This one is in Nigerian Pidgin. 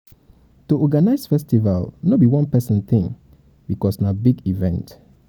to organize festival no be one persin thing because na big event